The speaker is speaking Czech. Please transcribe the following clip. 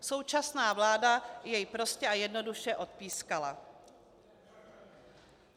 Současná vláda jej prostě a jednoduše odpískala.